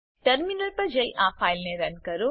terminal પર જઈ આ ફાઈલને રન કરો